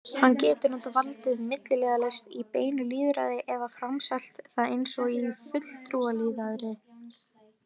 Hann getur notað valdið milliliðalaust í beinu lýðræði eða framselt það eins og í fulltrúalýðræði.